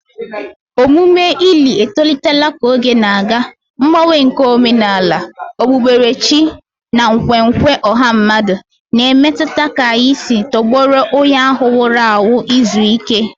Omume ili etolitela ka oge na-aga, mgbanwe nke omenala, okpukperechi, na nkwenkwe ọha mmadụ na-emetụta ka anyị si tọgbọrọ onye ahụ nwụrụ anwụ izu ike